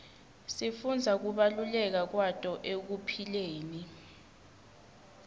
sifundza kubaluleka kwato ekuphileni